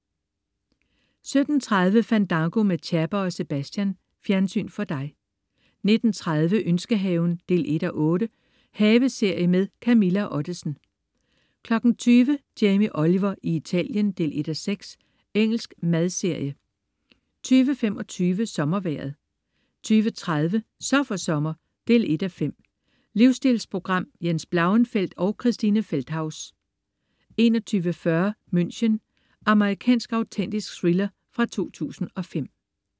17.30 Fandango med Chapper og Sebastian. Fjernsyn for dig 19.30 Ønskehaven 1:8. Haveserie med Camilla Ottesen 20.00 Jamie Oliver i Italien 1:6. Engelsk madserie 20.25 SommerVejret 20.30 Så for sommer 1:5. Livstilsprogram. Jens Blauenfeldt og Christine Feldthaus 21.40 München. Amerikansk autentisk thriller fra 2005